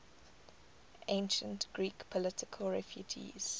ancient greek political refugees